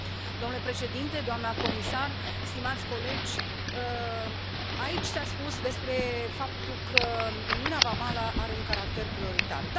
Domnule președinte, doamnă comisar, stimați colegi, aici s a spus despre faptul că uniunea vamală are un caracter prioritar.